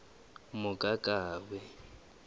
mokakawe